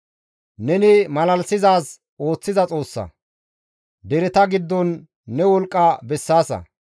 Neni malalisizaaz ooththiza Xoossa; dereta giddon ne wolqqa bessaasa.